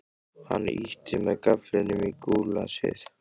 Hann ýtti með gafflinum í gúllasið.